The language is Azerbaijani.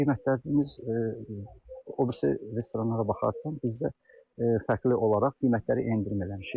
Qiymətlərimiz o birisi restoranlara baxarkən biz də fərqli olaraq qiymətləri endirim eləmişik.